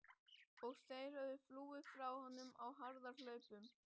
Og þeir höfðu flúið frá honum á harðahlaupum.